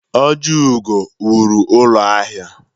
Ojiugo wụrụ ụlọ ahịa.